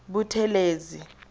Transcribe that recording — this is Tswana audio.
buthelezi